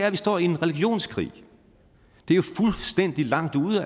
at vi står i en religionskrig det er jo fuldstændig langt ude